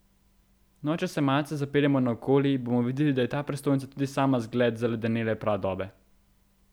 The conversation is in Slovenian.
No, če se malce zapeljemo naokoli, bomo videli, da je ta prestolnica tudi sama zgled zaledenele pradobe.